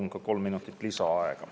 Ma palun kolm minutit lisaaega.